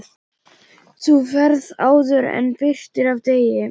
Þú ferð áður en birtir af degi.